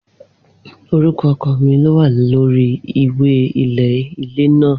Orúkọ ọkọ mi lówà lórí ìwé ilẹ̀ ilé náà